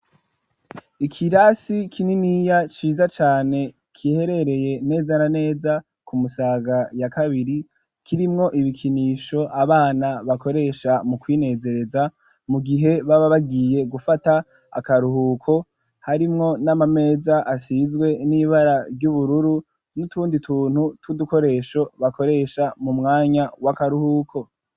Ikirasi kininiya ciza cane giherereye neza na neza ku Musaga ya kabiri kirimwo ibikinisho abana bakoresha mu kwinezereza mu gihe baba bagiye gufata akaruhuko, harimwo n'amameza asizwe n'ibara ry'ubururu n'utundi tuntu tw'udukoresho bakoresha mu mwanya w'akaruhuko.